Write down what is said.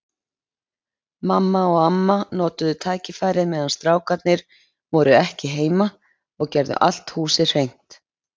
Mamma og amma notuðu tækifærið meðan strákarnir voru ekki heima og gerðu allt húsið hreint.